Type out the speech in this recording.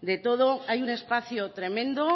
de todo hay un espacio tremendo